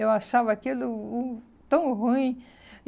Eu achava aquilo hum tão ruim.